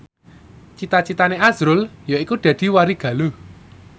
cita citane azrul yaiku dadi warigaluh